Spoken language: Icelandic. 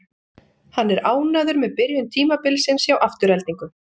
Hann er ánægður með byrjun tímabilsins hjá Aftureldingu.